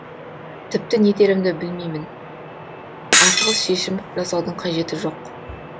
тіпті не дерімді білеймін асығыс шешім жасаудың қажеті жоқ